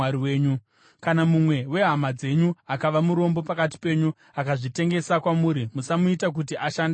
“ ‘Kana mumwe wehama dzenyu akava murombo pakati penyu akazvitengesa kwamuri, musamuita kuti ashande somuranda.